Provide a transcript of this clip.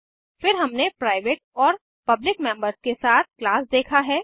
फिर हमने प्राइवेट और पब्लिक मेम्बर्स के साथ क्लास देखा है